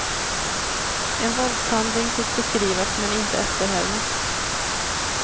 En våldshandling fick beskrivas men inte efterhärmas.